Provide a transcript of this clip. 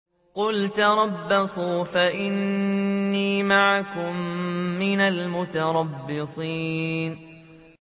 قُلْ تَرَبَّصُوا فَإِنِّي مَعَكُم مِّنَ الْمُتَرَبِّصِينَ